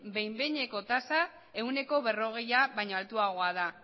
behin behineko tasa ehuneko berrogeia baino altuagoa da